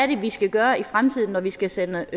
det er vi skal gøre i fremtiden når vi skal sende